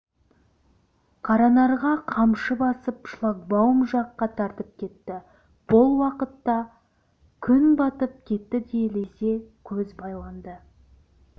қаранарға қамшы басып шлагбаум жаққа тартып кетті бұл уақытта күн батып кетті де лезде көз байланды